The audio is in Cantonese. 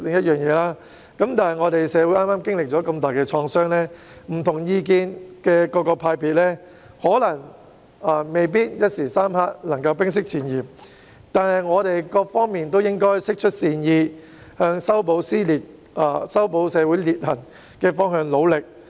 社會剛剛經歷了如此重大的創傷，持不同意見的各個派別未必能夠在短時間內冰釋前嫌，但各方面都應該釋出善意，朝着修補社會裂痕的方向而努力。